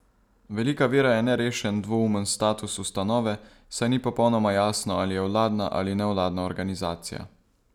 Velika ovira je nerešen, dvoumen status ustanove, saj ni popolnoma jasno, ali je vladna ali nevladna organizacija.